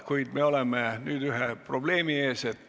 Kuid me oleme nüüd ühe probleemi ees.